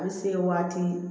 A bɛ se waati